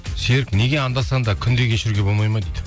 серік неге анда санда күнде кешіруге болмайды ма дейді